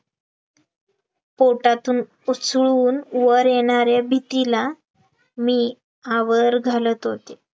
पोटातून उसळून वर येणारे भीतीला मी आवर घालत होते